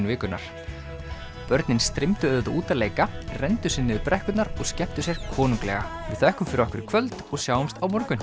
vikunnar börnin streymdu auðvitað út að leika renndu sér niður brekkurnar og skemmtu sér konunglega við þökkum fyrir okkur í kvöld og sjáumst á morgun